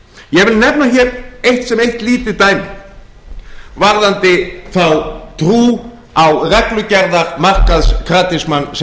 ég vil nefna hér sem eitt lítið dæmi varðandi þá trú á reglugerðarmarkaðskratisma sem